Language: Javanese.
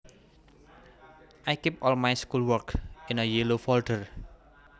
I keep all my schoolwork in a yellow folder